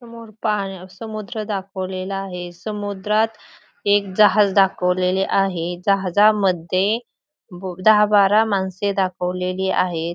समोर पाहण्या समुद्र दाखवलेला आहे समुद्रात एक जहाज दाखवलेले आहे जहाजामध्ये बो दहा बारा माणसे दाखवलेली आहेत.